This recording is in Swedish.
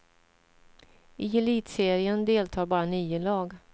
I elitserien deltar bara nio lag.